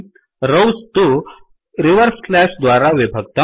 rows तु reverse slash द्वारा विभक्तम्